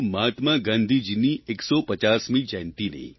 મહાત્મા ગાંધીજીની 150મી જયંતિની